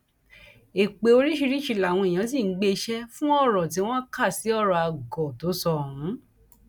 èpè oríṣiríṣiì làwọn èèyàn ṣì ń gbé e ṣe fún ọrọ tí wọn kà sí ọrọ àgọ tó sọ ohun